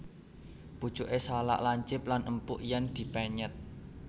Pucuké salak lancip lan empuk yèn dipenyèt